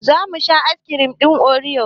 Zamu sha askirim ɗin oriyos